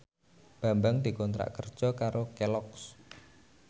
Bambang dikontrak kerja karo Kelloggs